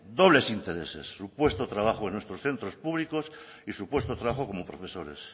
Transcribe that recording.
dobles intereses su puesto de trabajo en nuestros centros públicos y su puesto de trabajo como profesores